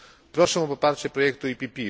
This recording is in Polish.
Proszę o poparcie projektu PPE.